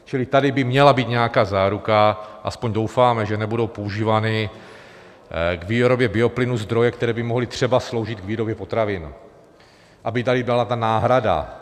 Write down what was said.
Čili tady by měla být nějaká záruka, aspoň doufáme, že nebudou používány k výrobě bioplynů zdroje, které by mohly třeba sloužit k výrobě potravin, aby tady byla ta náhrada.